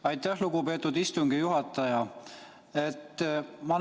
Aitäh, lugupeetud istungi juhataja!